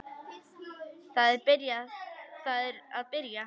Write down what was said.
Það er að byrja.